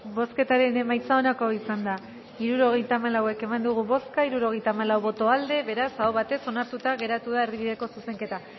bozketaren emaitza onako izan da hirurogeita hamalau eman dugu bozka hirurogeita hamalau boto aldekoa beraz aho batez onartuta geratu da erdi bideko zuzenketa